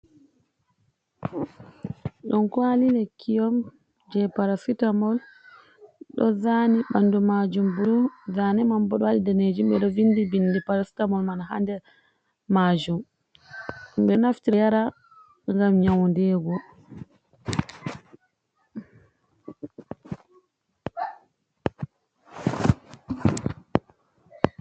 Ɗum kawali lekki on je parasita mol. Ɗo zani ɓanɗu majum ɓulu. Zane man ɓo ɗo vinɗi vinɗi parasitamol man ha nɗer majum. Ɓe naftira yara ngam nyauɗigo.